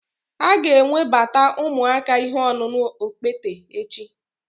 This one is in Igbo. A ga-ewebata ụmụaka ihe ọṅụṅụ okpete echi